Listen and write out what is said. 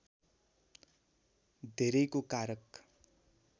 धेरैको कारक